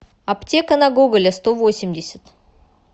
аптека на гоголя сто восемьдесят